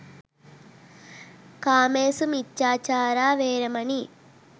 කාමේ සු මිච්චාචාරා වේරමණී